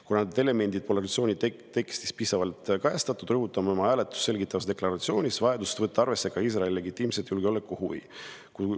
Kuna need elemendid pole resolutsiooni tekstis piisavalt kajastatud, rõhutame oma hääletust selgitavas deklaratsioonis vajadust võtta arvesse ka Iisraeli legitiimset julgeolekuhuvi.